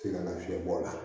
Te ka na fiɲɛ bɔ a la